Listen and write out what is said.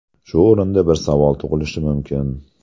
Shu o‘rinda bir savol tug‘ilishi mumkin.